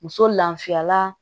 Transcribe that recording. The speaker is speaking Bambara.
Muso lafiyala